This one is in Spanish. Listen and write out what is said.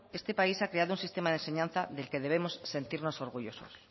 este país ha creado un sistema de enseñanza del que debemos sentirnos orgullosos